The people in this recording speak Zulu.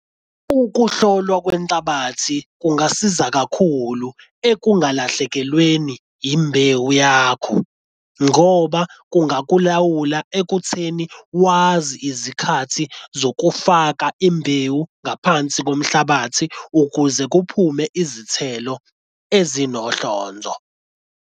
Ukuhlolwa kwenhlabathi kungasiza kakhulu ekungalahlekelweni imbewu yakho ngoba kungakulawula ekutheni wazi izikhathi zokufaka imbewu ngaphansi komhlabathi ukuze kuphume izithelo ezinohlonzo.